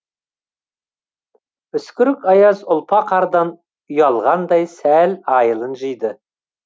үскірік аяз ұлпа қардан ұялғандай сәл айылын жыйды